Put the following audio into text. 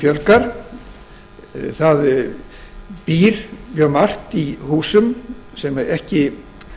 fjölgar það býr mjög margt í húsum sem ekki